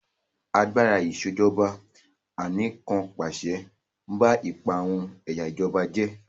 Agbára Ìṣèjọba Anìkànpàṣẹ ń ba ipa àwọn ẹ̀yà ìjọba jẹ́